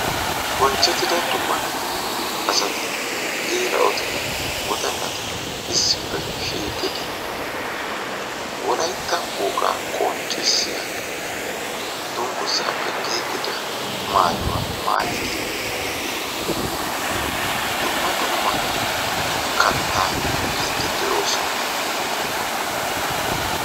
Bonchchettida dumma dumma asati geela'oti wodallati issippe shiiqidi wolaytta wogaa qonccissiya dungguzaappe giigida maayuwa maayidi dumma dumma kattaa miiddi de'oosona.